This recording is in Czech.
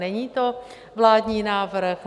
Není to vládní návrh?